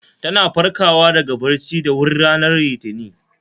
Ta na farkawa daga bacci da wuri ranar Litinin